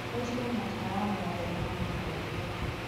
horĩa matawa mothe ma mwena wa umotho